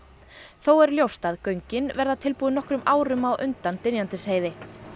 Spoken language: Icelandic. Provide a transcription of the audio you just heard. þó er ljóst að göngin verða tilbúin nokkrum árum á undan Dynjandisheiði